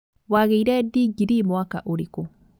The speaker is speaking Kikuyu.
Wagĩire ndingirii mwaka ũrĩkũ?